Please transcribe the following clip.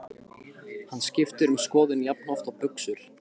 Hann skiptir um skoðun jafnoft og buxur.